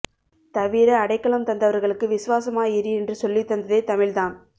தவிர அடைக்கலம் தந்தவர்களுக்கு விசுவாசமா இரு என்று சொல்லித்தந்ததே தமிழ் தான்